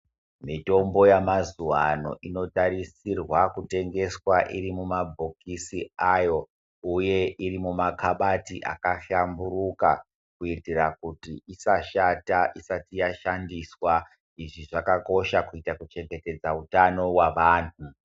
Mitombo yamazuvano inotarisirwa kutengeswa irimumabhokisi ayo uye iri mumakabati akahlamburuka. Kuitira kuti isashata isati yashandiswa. Izvi zvakakosha kuita kuchengetedze utano hwavanhu.